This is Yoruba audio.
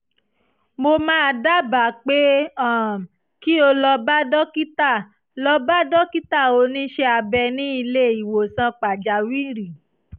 mo máa dábàá pé um kí o lọ bá dókítà lọ bá dókítà oníṣẹ́ abẹ ní ilé ìwòsàn pàjáwìrì